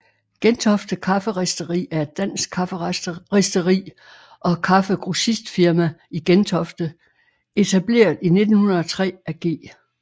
Gentofte Kafferisteri er et dansk kafferisteri og kaffegrossistfirma i Gentofte etableret i 1903 af G